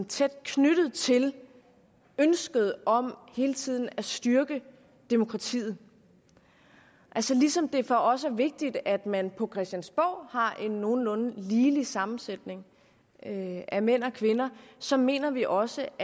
tæt knyttet til ønsket om hele tiden at styrke demokratiet altså ligesom det for os er vigtigt at man på christiansborg har en nogenlunde ligelig sammensætning af mænd og kvinder så mener vi også